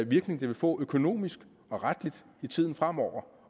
virkning det vil få økonomisk og retligt i tiden fremover